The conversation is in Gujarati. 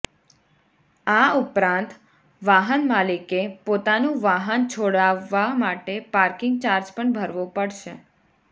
આ ઉપરાંત વાહનમાલિકે પોતાનું વાહન છોડાવવા માટે પાર્કિંગ ચાર્જ પણ ભરવો પડશે